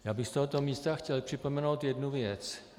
Já bych z tohoto místa chtěl připomenout jednu věc.